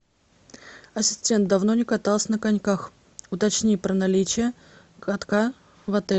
ассистент давно не каталась на коньках уточни про наличие катка в отеле